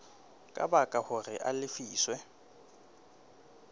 ka baka hore a lefiswe